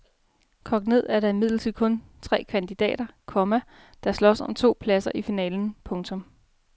Kogt ned er der imidlertid kun tre kandidater, komma der slås om de to pladser i finalen. punktum